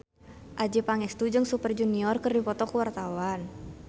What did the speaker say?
Adjie Pangestu jeung Super Junior keur dipoto ku wartawan